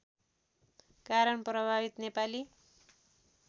कारण प्रभावित नेपाली